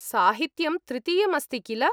साहित्यं तृतीयम् अस्ति, किल?